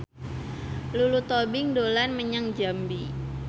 Lulu Tobing dolan menyang Jambi